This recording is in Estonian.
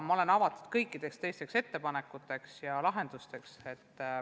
Ma olen avatud kõikidele ettepanekutele ja lahendustele.